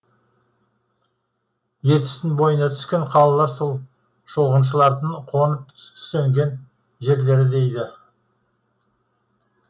ертістің бойына түскен қалалар сол шолғыншылардың қонып түстенген жерлері дейді